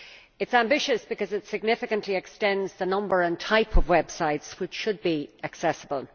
It is ambitious because it significantly extends the number and type of websites which should be accessible.